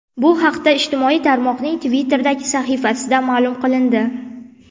Bu haqda ijtimoiy tarmoqning Twitter’dagi sahifasida ma’lum qilindi .